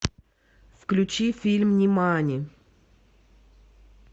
включи фильм нимани